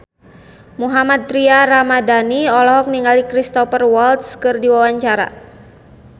Mohammad Tria Ramadhani olohok ningali Cristhoper Waltz keur diwawancara